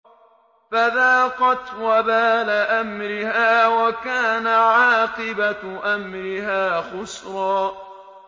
فَذَاقَتْ وَبَالَ أَمْرِهَا وَكَانَ عَاقِبَةُ أَمْرِهَا خُسْرًا